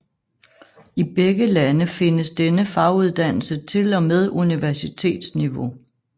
I begge lande findes denne faguddannelse til og med universitetsniveau